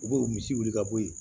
U b'o misi wuli ka bɔ yen